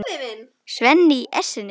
Svenni í essinu sínu.